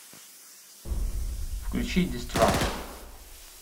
включи дистракшн